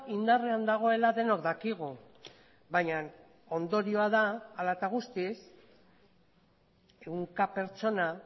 indarrean dagoela denok dakigu baina ondorioa da hala eta guztiz ehunka pertsona